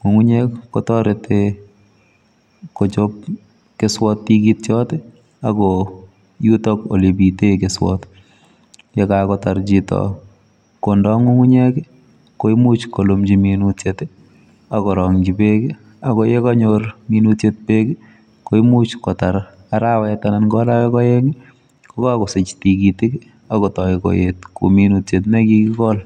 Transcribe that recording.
Ng'ung'unyek kotareti kochop keswot tigityot, ak ko yutok olepite keswot. Yekakotar chito kondo ng'ung'unyek koimuch kolumchi minutyet akorong'chi beek, ako yekanyor minutyet beek, koimuch kotar arawet anan ko arawek aeng, kokakosich tugitik, akotoi koet ko minutyet nekikikol.